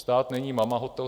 Stát není mamahotel.